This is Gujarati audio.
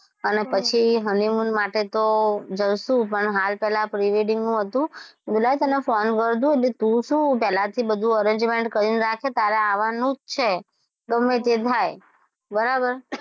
અને પછી honeymoon માટે તો જાશું પણ હાલ પહેલા pre-wedding નું હતું મે કીધું લાઇ તને phone કરું એટલે તું શું પહેલાથી બધુ arrangement કરી રાખે તારે આવવાનું જ છે ગમે તે થાય બરાબર,